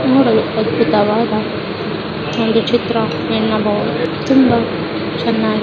ನೋಡಲು ಅದ್ಭುತವಾದ ಚಿತ್ರ ಎನ್ನಬಹುದು ತುಂಬಾ ಚೆನ್ನಾಗ್ --